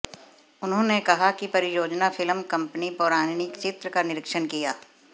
उन्होंने कहा कि परियोजना फिल्म कंपनी पौराणिक चित्र का निरीक्षण किया